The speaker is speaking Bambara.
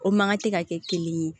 O mankan tɛ ka kɛ kelen ye